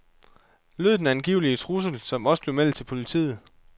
Lød den angivelige trussel, som også bliver meldt til politiet.